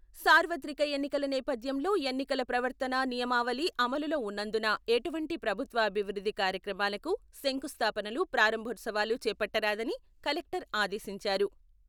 సార్వత్రిక ఎన్నికల నేపథ్యంలో ఎన్నికల ప్రవర్తన నియామవళి అమలులో ఉన్నందున ఎటువంటి ప్రభుత్వ అభివృద్ధి కార్యక్రమాలకు శంకుస్థాపనలు, ప్రారంభోత్సవాలు చేపట్టరాదని కలెక్టర్ ఆదేశించారు.